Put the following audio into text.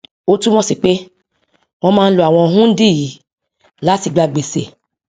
ó túmọ sí pé wọn máa ń lo àwọn hundí yìí láti gba gbèsè